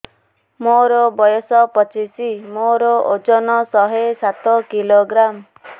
ମୋର ବୟସ ପଚିଶି ମୋର ଓଜନ ଶହେ ସାତ କିଲୋଗ୍ରାମ